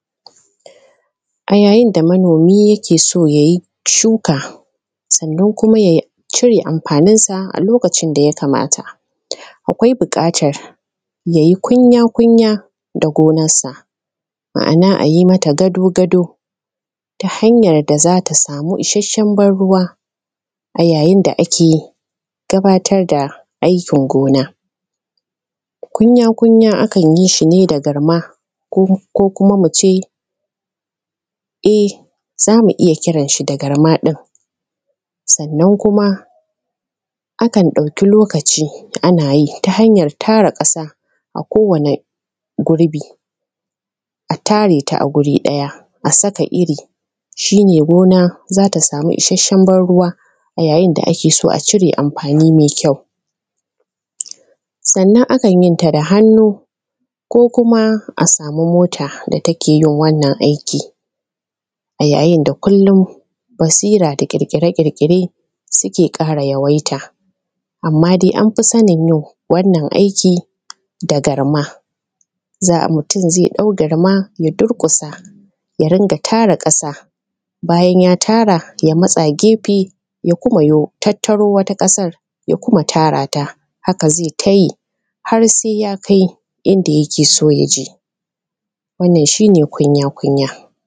A yayin da manomi yake so ya yi shuka, sannan kuma ya cire amfanin sa, a lokacin da yakamata akwai buƙatar ya yi kunya-kunya da gonarsa, ma'ana a yi masa gado-gado ta hanyan da za ta samu ishashen ban ruwa, a yayin da ake gabatar da aikin gona, gunya-gunya a kan yi shi ne da garma, ko kuma mu ce, za mu iya kiran shi da garma, sannan kuma akan ɗauki lokaci ana tara ƙasa a kowane gurbi a tare ta a guri ɗaya a saka iri, shi ne gona za ta samu ishashshen ban ruwa a yayin da ake so a cire amfani mai kyau, sannan akan yi ta da hannu ko kuma a samu mota da take yin wannan aikin a yayin da kullum basira da ƙirƙire-ƙirƙire suke ƙara yawaita, amma dai an fi sanin yau wannan aikin da garma, za a mutum ze ɗau garma ya durƙusa ya dinga tara ƙasa, bayan ya tara ya matsa gefe ya kuma yo tattaro wani ƙasan ya kuma tara ta haka ze ta yi har se ya kai inda yake so ya je, wannan shi ne kunya-kunya.